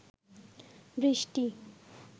বৃষ্টি